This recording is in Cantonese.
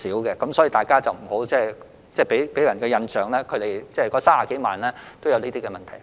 所以，請大家不要給人一個印象，就是這30多萬名外傭均有這些問題。